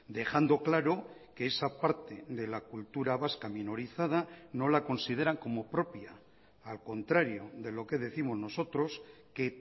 dejando claro que esa parte de la cultura vasca minorizada no la consideran como propia al contrario de lo que décimos nosotros que